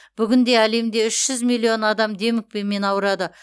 бүгінде әлемде үш жүз миллион адам демікпемен ауырады